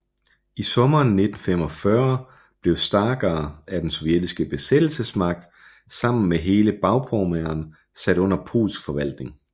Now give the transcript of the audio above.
I sommeren 1945 blev Stargard af den sovjetiske besættelsesmagt sammen med hele Bagpommern sat under polsk forvaltning